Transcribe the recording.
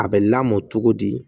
A bɛ lamɔ cogo di